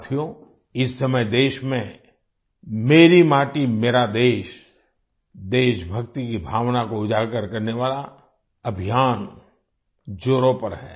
साथियो इस समय देश में मेरी माटी मेरा देश देशभक्ति की भावना को उजागर करने वाला अभियान जोरों पर है